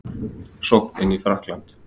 Sókn inn í Frakkland